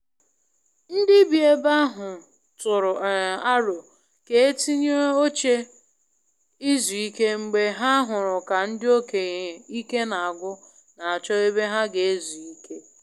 Ndị bi ebe ahu tụrụ um aro ka e tinye oche i zu ike mgbe ha hụrụ ka ndị okenye ike n'agwu n'achọ ebe ha ga-ezu ike.